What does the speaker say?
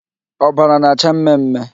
Ọbara na-acha mme mme.